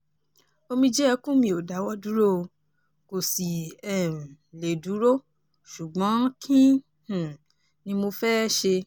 omijé ẹkún mi ò dáwọ́ dúró o kò sì um lè dúró ṣùgbọ́n kín um ni mo fẹ́ẹ́ ṣe